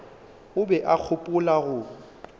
o be a gopola go